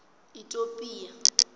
itopia